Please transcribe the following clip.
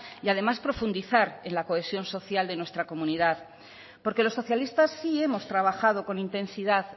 y además profundizar en la cohesión social de nuestra comunidad porque los socialistas sí hemos trabajado con intensidad